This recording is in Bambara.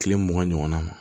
Kile mugan ɲɔgɔnna ma